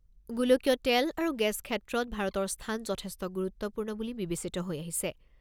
গোলকীয় তেল আৰু গেছ ক্ষেত্ৰত ভাৰতৰ স্থান যথেষ্ট গুৰুত্বপূৰ্ণ বুলি বিবেচিত হৈ আহিছে।